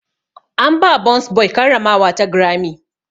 An ba burns boy karramawa ta Grammy.